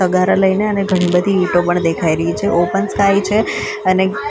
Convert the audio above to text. તગારા લઈને અને ઘણી બધી ઈંટો પણ દેખાઈ રહી છે ઓપન સ્કાય છે અને --